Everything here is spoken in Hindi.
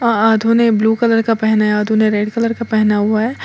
आधों ने ब्लू कलर का पहना है आधों ने रेड कलर का पहना हुआ है।